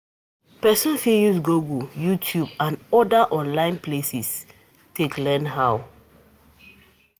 Person fit use google, youtube and oda online places take learn how